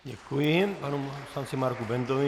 Děkuji panu poslanci Marku Bendovi.